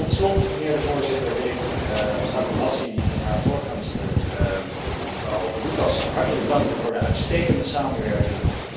Tot slot, mijnheer de Voorzitter, wil ik Satu Hassi en haar voorgangster, mevrouw Lucas hartelijk danken voor de uitstekende samenwerking.